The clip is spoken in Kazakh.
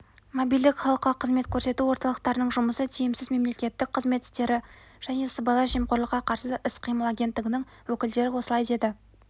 мобильдік халыққа қызмет көрсету орталықтарының жұмысы тиімсіз мемлекеттік қызмет істері және сыбайлас жемқорлыққа қарсы іс-қимыл агенттігінің өкілдері осылай деді